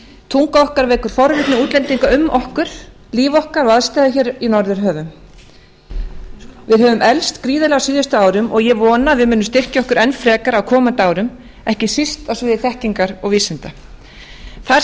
tunga okkar vekur forvitni útlendinga um okkur líf okkar og aðstæður hér í n norðurhöfum við höfum eflst gríðarlega á síðustu árum og ég vona að við munum styrkja okkur enn frekar á komandi árum ekki síst á sviði þekkingar og vísinda þar